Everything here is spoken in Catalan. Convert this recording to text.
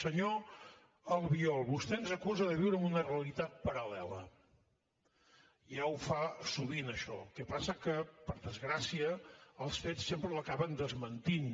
senyor albiol vostè ens acusa de viure en una realitat paral·lela ja ho fa sovint això el que passa que per desgracia els fets sempre l’acaben desmentint